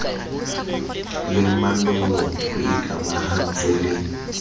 le manollong ho ikamahantswe le